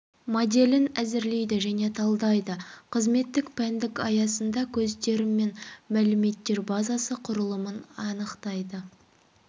моделін әзірлейді және талдайды қызметтің пәндік аясында көздер мен мәліметтер базасы құрылымын анықтайды